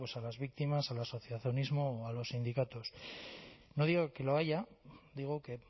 a las víctimas al asociacionismo o a los sindicatos no digo que lo haya digo que